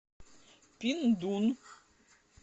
пиндун